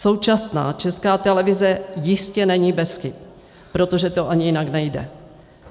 Současná Česká televize jistě není bez chyb, protože to ani jinak nejde.